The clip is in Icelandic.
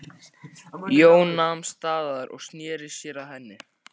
Jón nam staðar og sneri sér að henni.